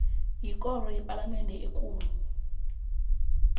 yikoro yepalamende ekulu